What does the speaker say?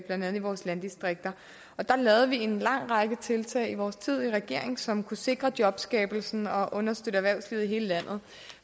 andet i vores landdistrikter der lavede vi en lang række tiltag i vores tid i regering som kunne sikre jobskabelsen og understøtte erhvervslivet i hele landet